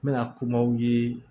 N bɛna kumaw ye